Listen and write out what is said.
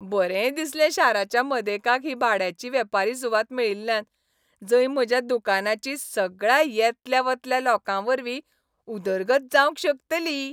बरें दिसलें शाराच्या मदेकाक ही भाड्याची वेपारी सुवात मेळिल्ल्यान, जंय म्हज्या दुकानाची सगळ्या येतल्या वतल्या लोकांवरवीं उदरगत जावंक शकतली.